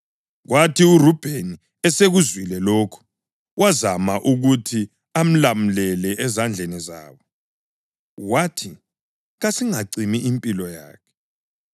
Kwathi uRubheni esekuzwile lokhu, wazama ukuthi amlamulele ezandleni zabo. Wathi, “Kasingacimi impilo yakhe.